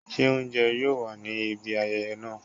se ounjẹ yoo wa ni ibi ayẹyẹ naa?